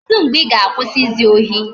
Kedu mgbe I ga-akwụsị izu ohi?